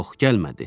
Yox, gəlmədi.